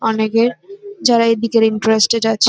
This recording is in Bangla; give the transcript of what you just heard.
অনেকে যারা এইদিকে ইন্টারেস্টেড আছে।